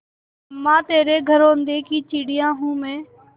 अम्मा तेरे घरौंदे की चिड़िया हूँ मैं